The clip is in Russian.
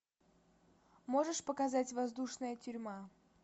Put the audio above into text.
можешь показать воздушная тюрьма